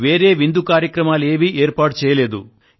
వేరే విందు కార్యక్రమాలు ఏమీ చేయలేదు